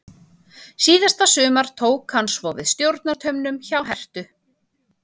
Síðasta sumar tók hann svo við stjórnartaumunum hjá Herthu.